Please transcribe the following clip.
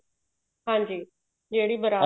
ਹਾਂਜੀ ਜਿਹੜੀ ਬਾਰਾਤ